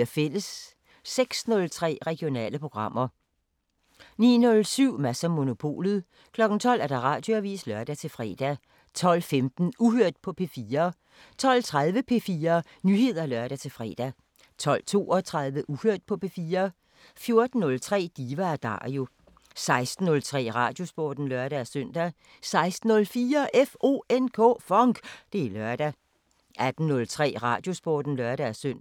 06:03: Regionale programmer 09:07: Mads & Monopolet 12:00: Radioavisen (lør-fre) 12:15: Uhørt på P4 12:30: P4 Nyheder (lør-fre) 12:32: Uhørt på P4 14:03: Diva & Dario 16:03: Radiosporten (lør-søn) 16:04: FONK! Det er lørdag 18:03: Radiosporten (lør-søn)